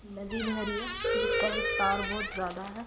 नदी भरी है जिसका विस्तार बहुत ज्यादा है।